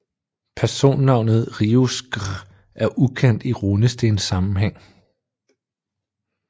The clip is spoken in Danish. Personnavnet riuskR er ukendt i runestenssammenhæng